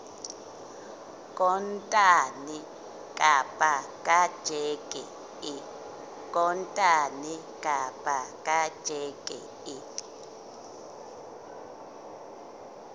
kontane kapa ka tjheke e